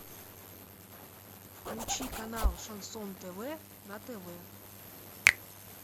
включи канал шансон тв на тв